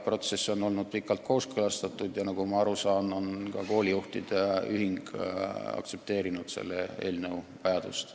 Protsess on olnud pikalt kooskõlastatud ja nagu ma aru saan, on ka koolijuhtide ühing mõistnud selle eelnõu vajalikkust.